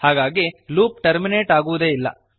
ಹಾಗಾಗಿ loop terminate ಆಗುವುದೇ ಇಲ್ಲ